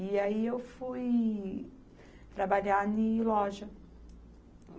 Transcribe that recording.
E aí eu fui trabalhar em loja.